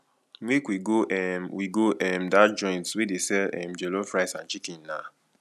make we go um we go um dat joint wey dey sell um jollof rice and chicken na